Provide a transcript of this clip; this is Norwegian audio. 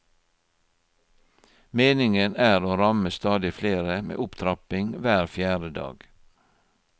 Meningen er å ramme stadig flere med opptrapping hver fjerde dag.